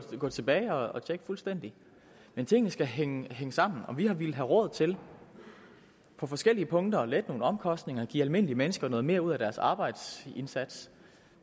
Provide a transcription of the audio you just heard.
gå tilbage og tjekke fuldstændig men tingene skal hænge sammen og vi har villet have råd til på forskellige punkter at lægge nogle omkostninger give almindelige mennesker noget mere ud af deres arbejdsindsats